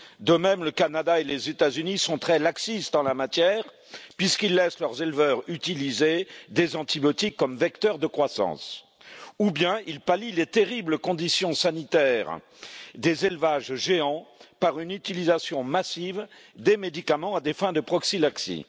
de même, le Canada et les États Unis sont très laxistes en la matière, puisqu'ils laissent leurs éleveurs utiliser des antibiotiques comme vecteur de croissance ou bien ils pallient les terribles conditions sanitaires des élevages géants par une utilisation massive des médicaments à des fins de prophylaxie.